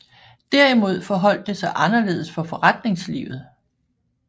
Derimod forholdt det sig anderledes for forretningslivet